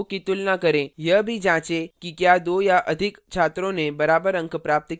यह भी जांचें कि क्या दो या अधिक छात्रों ने बराबर अंक प्राप्त किए हैं